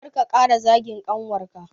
Kar ka ƙara zagin ƙanwarka